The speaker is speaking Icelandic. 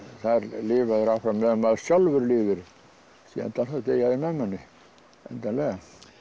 lifa þeir áfram meðan maður sjálfur lifir í endann þá deyja þeir með manni endanlega